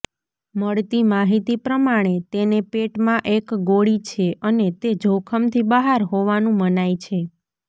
મળતી માહિતી પ્રમાણે તેને પેટમાં એક ગોળી છે અને તે જોખમથી બહાર હોવાનું મનાય છે